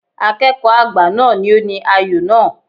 Akẹ́kọ̀ọ́ àgbà náà ni ó ní ayò náà.